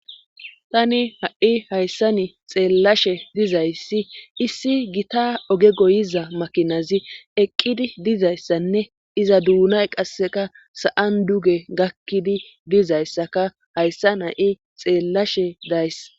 Tani ha'i hayssani xeellashe dizayssi issi gita oge goyiza makinazi eqqidi dizayssanne iza duunay qasseka sa'an duge gakkidi dizayssaka hayssan ha'i xeellashe days.